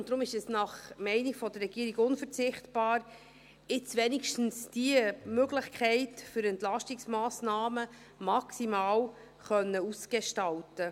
Deshalb ist es nach Meinung der Regierung unverzichtbar, wenigstens diese Möglichkeit für Entlastungsmassnahmen maximal auszugestalten.